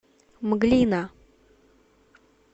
мглина